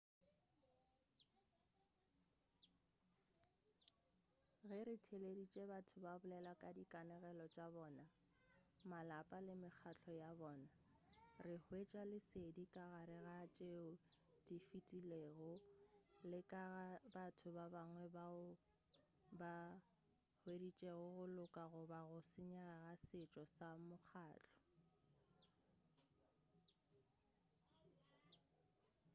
ge re theeleditše batho ba bolela ka dikanegelo tša bona malapa le mekgahlo ya bona re hwetša lesedi ka gare ga tšeo di fetilego le ka ga batho ba bangwe bao ba hueditšego go loka goba go senyega ga setšo sa mokgahlo